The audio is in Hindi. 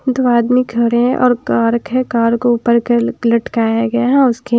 दो आदमी खड़े हैं और कार्क है कार के ऊपर लटकाया गया है और उसके--